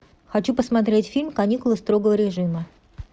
хочу посмотреть фильм каникулы строгого режима